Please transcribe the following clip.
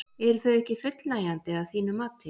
Eru þau ekki fullnægjandi að þínu mati?